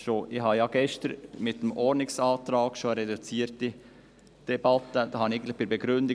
Ich habe gestern mit einem Ordnungsantrag eine reduzierte Debatte gefordert.